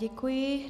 Děkuji.